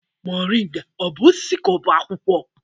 Moringa ọ bụ osisi ka ọ bụ akwụkwọ?